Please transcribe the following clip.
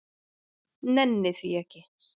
Nenni því ekki.